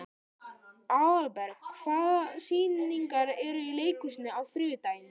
Aðalberg, hvaða sýningar eru í leikhúsinu á þriðjudaginn?